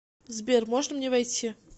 сбер можно мне войти